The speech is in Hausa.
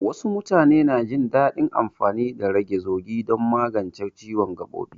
Wasu mutane na jin daɗin amfani da rage zugi don magance ciwon gaɓoɓi.